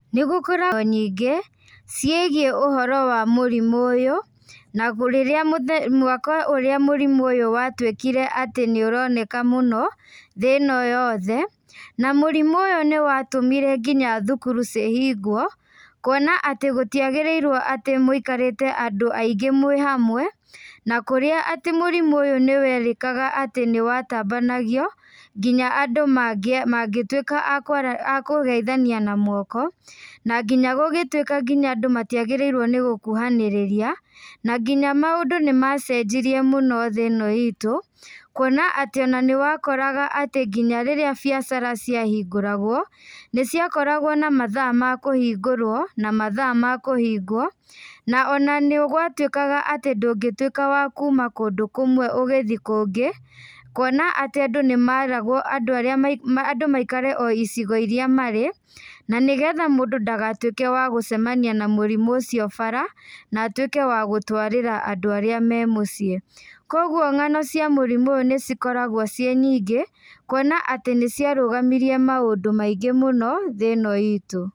Nĩ gũkoragwo nyingĩ, ciĩgiĩ ũhoro wa mũrimũ ũyũ, na rĩrĩa mũthenya mwaka ũrĩa mũrimũ ũyũ watuĩkire atĩ nĩ ũroneka mũno, thĩ ĩno yothe, na mũrimũ ũyũ nĩ watũmire nginya thukuru cihingwo, kuona atĩ gũtiagĩrĩirwo atĩ mũikarĩte andũ aingĩ mwĩ hamwe, na kũrĩa atĩ mũrimũ ũyũ nĩ werĩkaga atĩ nĩ watambanagio, nginya andũ mangĩtuĩka akwara akũgeithania na moko, na nginya gũgĩtuĩka nginya andũ matiagĩrĩirwo nĩ gũkuhanĩrĩria, na nginya maũndũ nĩ macenjirie mũno thĩ ĩno itũ, kwona atĩ ona nĩ wakoraga atĩ nginya rĩrĩa biacara ciahingũragwo, nĩ ciakoragwo na mathaa makũhingũrwo, na mathaa makũhingwo, na ona nĩ gwatuĩkaga atĩ ndũngĩtuĩka wa kuuma kũndũ kũmwe ũgĩthiĩ kũngĩ, kuona atĩ andũ nĩ meragwo andũ arĩa andũ maikare o icigo iria marĩ, na nĩgetha mũndũ ndagatuĩke wa gũcemania na mũrimũ ũcio bara, na atuĩke wa gũtũarĩra andũ arĩa me mũciĩ. Koguo ng'ano cia mũrimũ ũyũ nĩ cikoragwo ciĩ nyingĩ, kuona atĩ nĩ ciarũgamirie maũndũ maingĩ mũno, thĩ ĩno itũ.